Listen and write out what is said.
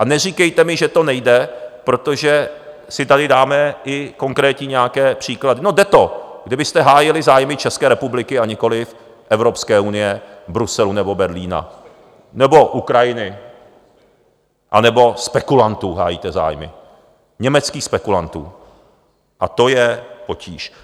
A neříkejte mi, že to nejde, protože si tady dáme i konkrétní nějaké příklady - no jde to, kdybyste hájili zájmy České republiky, a nikoliv Evropské unie, Bruselu nebo Berlína nebo Ukrajiny, anebo spekulantů hájíte zájmy, německých spekulantů, a to je potíž.